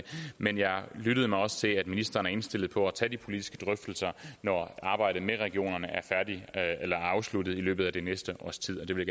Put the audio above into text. men jeg lyttede mig også til at ministeren er indstillet på at tage de politiske drøftelser når arbejdet med regionerne er afsluttet i løbet af det næste års tid og det vil